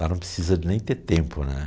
Lá não precisa nem ter tempo, né?